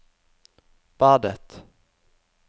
badet